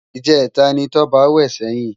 Ijètá ni Toba wè sèyin